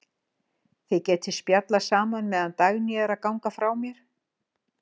Þið getið spjallað saman meðan Dagný er að ganga frá mér.